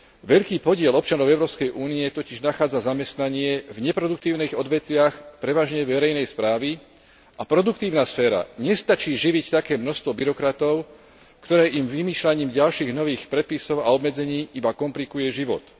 Veľký podiel občanov Európskej únie totiž nachádza zamestnanie v neproduktívnych odvetviach, prevažne verejnej správy a produktívna sféra nestačí živiť také množstvo byrokratov, ktoré im vymýšľaním ďalších nových predpisov a obmedzení iba komplikuje život.